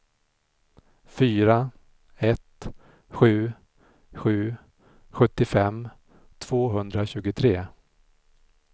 fyra ett sju sju sjuttiofem tvåhundratjugotre